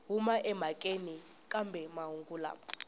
huma emhakeni kambe mahungu lama